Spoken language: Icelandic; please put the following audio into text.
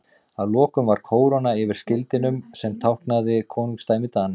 Að lokum var kóróna yfir skildinum sem táknaði konungdæmi Dana.